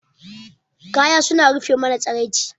Kaya suna rufe mana tsiraici.